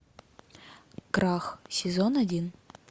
крах сезон один